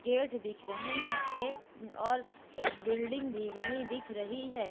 Gate दिख रहें हैं एक और एक बिल्डिंग भी बनी दिख रही हैं।